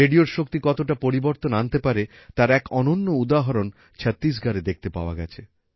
রেডিওর শক্তি কতটা পরিবর্তন আনতে পারে তার এক অনন্য উদাহরণ ছত্তিশগড়ে দেখতে পাওয়া গেছে